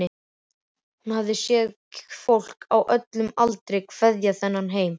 Hún hafði séð fólk á öllum aldri kveðja þennan heim.